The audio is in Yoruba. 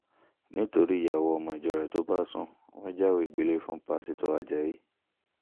nítorí ìyàwó ọmọ ìjọ rẹ̀ tó bá sún wọn jáwèé gbélé ẹ̀ fún pásítọ̀ ajáyí